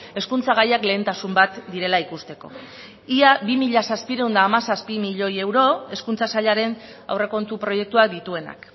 hezkuntza gaiak lehentasun bat direla ikusteko ia bi mila zazpiehun eta hamazazpi milioi euro hezkuntza sailaren aurrekontu proiektuak dituenak